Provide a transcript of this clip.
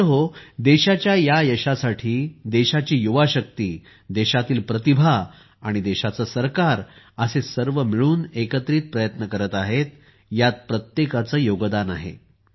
मित्रहो देशाच्या या यशासाठी देशाची युवाशक्ती देशातील प्रतिभा आणि देशाचे सरकार असे सर्व मिळून एकत्रित प्रयत्न करत आहेत यात प्रत्येकाचे योगदान आहे